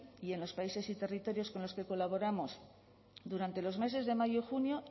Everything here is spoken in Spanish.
y en los países y territorios con los que colaboramos durante los meses de mayo y junio